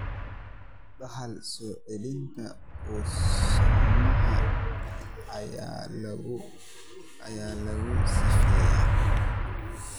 Dhaxal-soo-celinta autosomal ayaa lagu sifeeyay.